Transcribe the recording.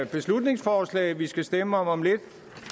beslutningsforslag vi skal stemme om om lidt